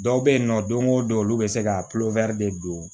Dɔw bɛ yen nɔ don o don olu bɛ se ka de don